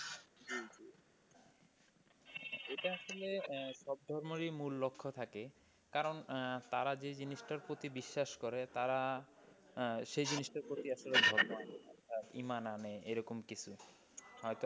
এটা আসলে সব ধর্মেরই মূল লক্ষ্য থাকে কারণ তারা যে জিনিসটার প্রতি বিশ্বাস করে তারা সেই জিনিসটার প্রতি ধর্ম আচরণ বা ইমান আনে বা এরকম কিছু। হয়তো,